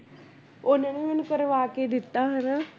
ਉਹਨਾਂ ਨੇ ਮੈਨੂੰ ਕਰਵਾ ਕੇ ਦਿੱਤਾ ਹਨਾ